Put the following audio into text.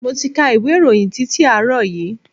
Mo ti ka ìwé ìròyìn titi àárọ̀ yìí.